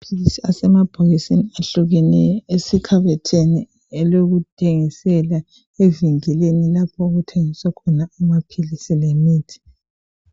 Amaphilisi asemabhokisini ayehlukeneyo, asekhabothini elokuthengisela, evinkilini lapho okuthengiswa khona amaphilisi lemithi.